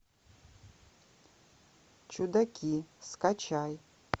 чудаки скачай